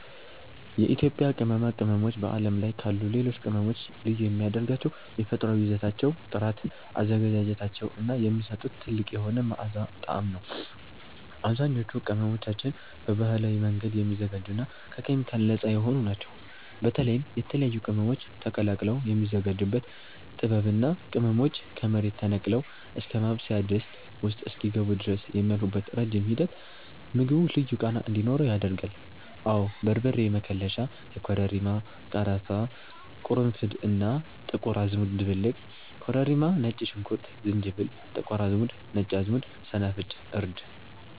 የኢትዮጵያ ቅመማ ቅመሞች በዓለም ላይ ካሉ ሌሎች ቅመሞች ልዩ የሚያደርጋቸው የተፈጥሮአዊ ይዘታቸው ጥራት፣ አዘገጃጀታቸው እና የሚሰጡት ጥልቅ የሆነ መዓዛና ጣዕም ነው። አብዛኞቹ ቅመሞቻችን በባህላዊ መንገድ የሚዘጋጁና ከኬሚካል ነፃ የሆኑ ናቸው። በተለይም የተለያዩ ቅመሞች ተቀላቅለው የሚዘጋጁበት ጥበብ እና ቅመሞቹ ከመሬት ተነቅለው እስከ ማብሰያ ድስት ውስጥ እስኪገቡ ድረስ የሚያልፉበት ረጅም ሂደት ምግቡ ልዩ ቃና እንዲኖረው ያደርጋል። አወ በርበሬ መከለሻ (የኮረሪማ፣ ቀረፋ፣ ቅርንፉድ እና ጥቁር አዝሙድ ድብልቅ) ኮረሪማ ነጭ ሽንኩርት ዝንጅብል ጥቁር አዝሙድ ነጭ አዝሙድ ሰናፍጭ እርድ